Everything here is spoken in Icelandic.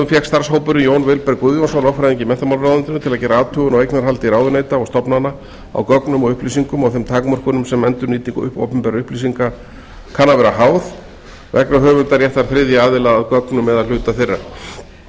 fékk starfshópurinn jón vilberg guðjónsson lögfræðing í menntamálaráðuneytinu til að gera athugun á eignarhaldi ráðuneyta og stofnana á gögnum og upplýsingum og þeim takmörkunum sem endurnýting opinberra upplýsinga kann að vera háð vegna höfundaréttar þriðja aðila að gögnum eða hluta